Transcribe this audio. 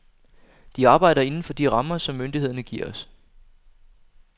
De arbejder inden for de rammer, som myndighederne giver os.